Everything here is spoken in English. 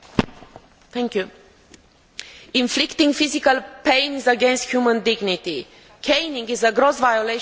Mr President, inflicting physical pain is against human dignity. Caning is a gross violation of human rights.